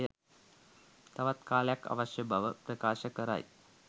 තවත් කාලය අවශ්‍ය බව ප්‍රකාශ කරයි